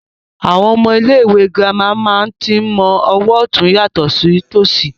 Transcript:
Àwọn ọmọ ilé ìwé gírámà máa tí ń mọ ọwọ otun yàtọ̀ sí tòṣì